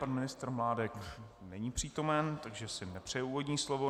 Pan ministr Mládek není přítomen, takže si nepřeje úvodní slovo.